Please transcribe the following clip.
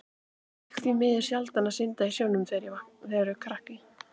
Ég fékk því miður sjaldan að synda í sjónum þegar ég var krakki.